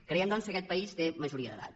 creiem doncs que aquest país té majoria d’edat